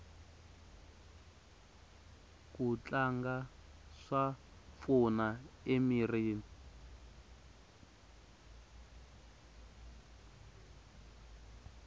ku tlanga swa pfuna emirini